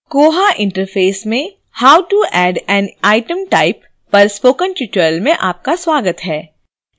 koha interface में how to add an item type पर spoken tutorial में आपका स्वागत है